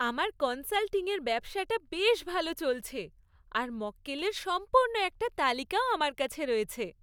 আমার কনসাল্টিংয়ের ব্যবসাটা বেশ ভালো চলছে, আর মক্কেলের সম্পূর্ণ একটা তালিকাও আমার রয়েছে।